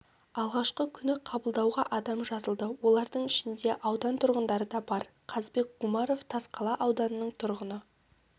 алғашқы күні қабылдауға адам жазылды олардың ішінде аудан тұрғындары да бар қазбек гумаров тасқала ауданының тұрғыны